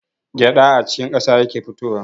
Gyaɗa a cikin ƙasa yake fitowa.